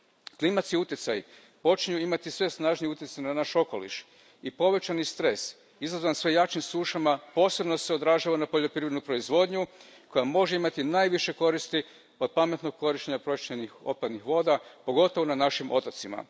Klimatski utjecaji počinju imati sve snažniji utjecaj na naš okoliš i povećani stres, izazvan sve jačim sušama, posebno se odražava na poljoprivrednu proizvodnju koja može imati najviše koristi od pametnog korištenja pročišćenih otpadnih voda, pogotovo na našim otocima.